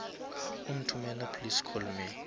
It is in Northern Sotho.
o nthomela please call me